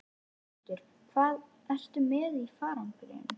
Höskuldur: Hvað ertu með í farangrinum?